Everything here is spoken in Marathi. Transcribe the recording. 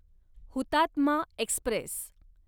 हुतात्मा एक्स्प्रेस